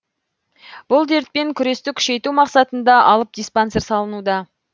бұл дертпен күресті күшейту мақсатында алып диспансер салынуда